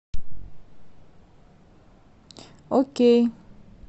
окей